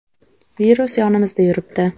Virus yonimizda yuribdi.